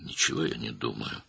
Mən heç nə düşünmürəm.